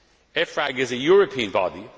EFRAG is a European body.